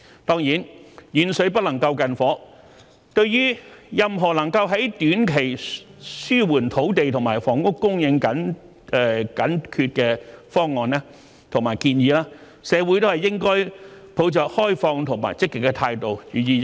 當然，"遠水不能救近火"，對於任何能夠在短期紓緩土地和房屋供應緊缺的方案和建議，社會都應抱着開放和積極的態度，予以認真考慮。